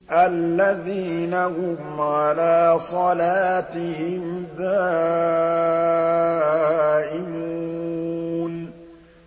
الَّذِينَ هُمْ عَلَىٰ صَلَاتِهِمْ دَائِمُونَ